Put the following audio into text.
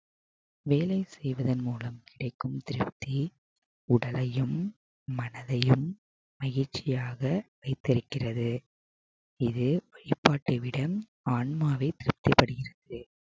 வேலை செய்வதன் மூலம் கிடைக்கும் திருப்தி உடலையும் மனதையும் மகிழ்ச்சியாக வைத்திருக்கிறது இது வழிபாட்டைவிட ஆன்மாவை திருப்தி